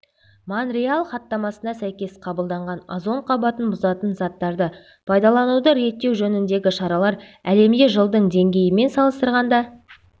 монреаль хаттамасына сәйкес қабылданған озон қабатын бұзатын заттарды пайдалануды реттеу жөніндегі шаралар әлемде жылдың деңгейімен салыстырғанда